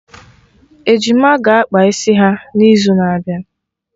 Ejima ga-akpa isi ha na izu n'abịa